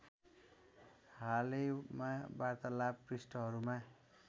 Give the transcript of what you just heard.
हालैमा वार्तालाप पृष्ठहरूमा